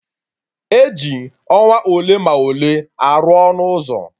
E ji ọnwa ole ma ole arụ ọnụ ụzọ